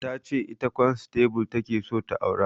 Ta ce ita kwansatable ta ke so ta aura